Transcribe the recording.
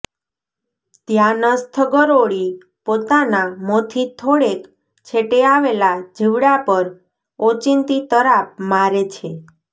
ધ્યાનસ્થ ગરોળી પોતાના મોંથી થોડેક છેટે આવેલા જીવડા પર ઓચિંતી તરાપ મારે છે